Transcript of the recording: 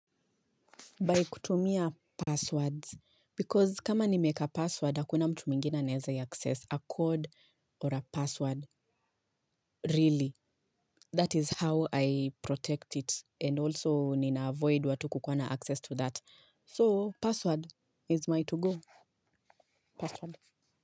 By kutumia passwords, because kama nimeeka password, hakuna mtu mwingina anaeza ia access a code or a password really. That is how I protect it. And also nina avoid watu kukua na access to that. So, password is my togo. Password.